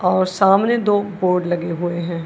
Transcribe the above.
और सामने दो बोर्ड लगे हुए हैं।